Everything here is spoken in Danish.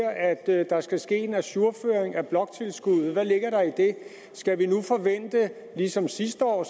at der skal ske en ajourføring af bloktilskuddet hvad ligger der i det skal vi nu ligesom sidste år